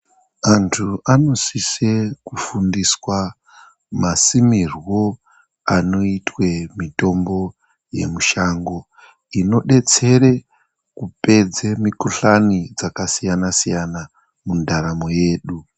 Antu anosise kufundiswa masimirwo anoitwe mitombo yemushango, inodetsere kupedze mikuhlani dzakasiyana siyana mundaramo yedu.